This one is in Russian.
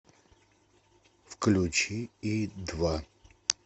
включи и два